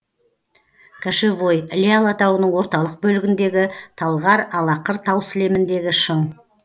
кошевой іле алатауының орталық бөлігіндегі талғар алақыр тау сілеміндегі шың